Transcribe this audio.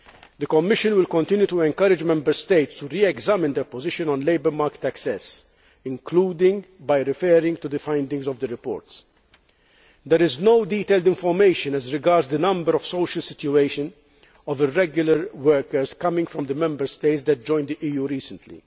The Commission will continue to encourage Member States to re examine their position on labour market access, including by referring to the findings of the reports. There is no detailed information as regards the number or social situation of irregular workers coming from the Member States that joined the EU recently.